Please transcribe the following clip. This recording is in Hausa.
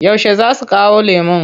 Yaushe za su kawo lemon?